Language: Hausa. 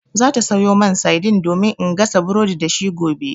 Za ta sayo mani saidin domin in gasa burodi da shi gobe.